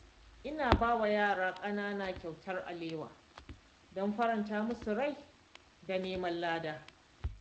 Ina ba wa yara ƙanana kyautar alewa don faranta musu rai da neman lada